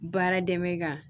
Baara dɛmɛ ka